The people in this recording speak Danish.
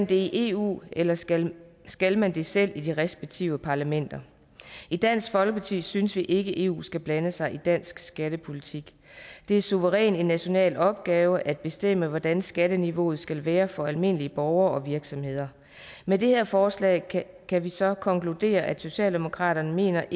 det i eu eller skal skal man det selv i de respektive parlamenter i dansk folkeparti synes vi ikke at eu skal blande sig i dansk skattepolitik det er suverænt en national opgave at bestemme hvordan skatteniveauet skal være for almindelige borgere og virksomheder med det her forslag kan vi så konkludere at socialdemokraterne mener